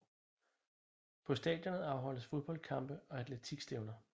På stadionet afholdes fodboldkampe og atletikstævner